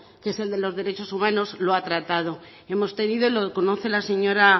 que es el de los derechos humanos lo ha tratado hemos tenido lo conoce la señora